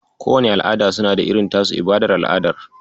Kowanne al'ada suna da irin tasu ibadar al'adar.